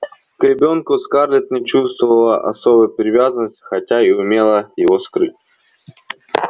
к ребёнку скарлетт не чувствовала особой привязанности хотя и умела его скрыть